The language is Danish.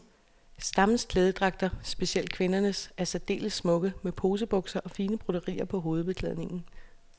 Stammens klædedragter, specielt kvindernes, er særdeles smukke, med posebukser og fine broderier på hovedbeklædningen.